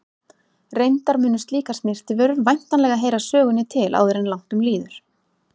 Reyndar munu slíkar snyrtivörur væntanlega heyra sögunni til áður en langt um líður.